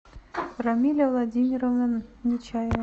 рамиля владимировна нечаева